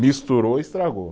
Misturou, estragou.